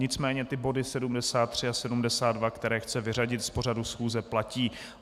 Nicméně ty body 73 a 72, které chce vyřadit z pořadu schůze, platí.